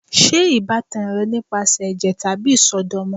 Ṣe ibatan rẹ nipasẹ ẹjẹ tabi isọdọmọ?